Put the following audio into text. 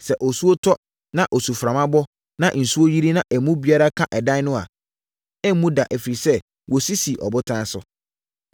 Sɛ osuo tɔ, na osuframa bɔ, na nsuo yiri, na emu biara ka ɛdan no a, ɛremmu da ɛfiri sɛ, wɔsi sii ɔbotan so.